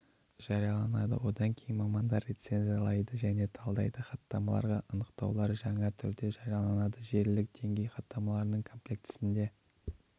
жарияланады одан кейін мамандары рецензиялайды және талдайды хаттамаларға анықтаулар жаңа терде жарияланады желілік деңгей хаттамаларының комплектісінде